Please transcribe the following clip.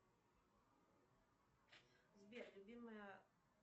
сбер любимая